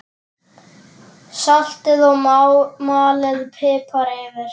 Saltið og malið pipar yfir.